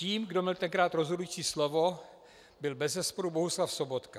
Tím, kdo měl tenkrát rozhodující slovo, byl bezesporu Bohuslav Sobotka.